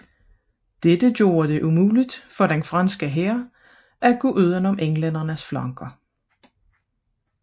Dette gjorde det umuligt for den franske hær at gå uden om englændernes flanker